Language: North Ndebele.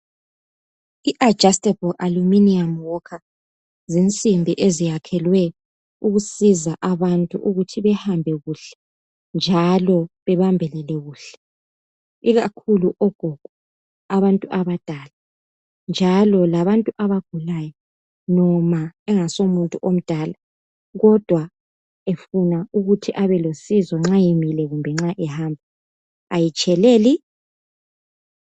I-adjustable alluminium walker zinsimbi eziyakhelwe ukusiza abantu ukuthi behambe kuhle, njalo bebambelele kuhle. Ikakhulu ogogo, abantu abadala, njalo labantu abagulayo. Noma engasomuntu omdala, kodwa efuna ukuthi abelosizo, nxa emile, lanxa ehamba. Kayitsheleli!